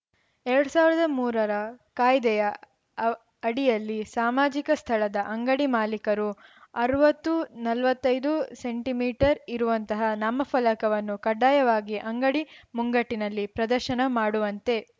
ಎರಡ್ ಸಾವಿರದ ಮೂರರ ಕಾಯ್ದೆಯ ಅ ಅಡಿಯಲ್ಲಿ ಸಾಮಾಜಿಕ ಸ್ಥಳದ ಅಂಗಡಿ ಮಾಲೀಕರು ಅರ್ವತ್ತು ನಲ್ವತ್ತೈದು ಸೆಂಟಿ ಮೀಟರ್ ಇರುವಂತಹ ನಾಮಫಲಕವನ್ನು ಕಡ್ಡಾಯವಾಗಿ ಅಂಗಡಿ ಮುಂಗಟ್ಟಿನಲ್ಲಿ ಪ್ರದರ್ಶನ ಮಾಡುವಂತೆ